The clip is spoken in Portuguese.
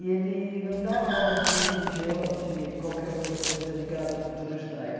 E ele não dava aula de religião ou de qualquer outra coisa ligada à cultura judaica.